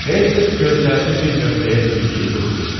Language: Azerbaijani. Hersoq gözlərini bir nöqtəyə zilləyib durmuşdu.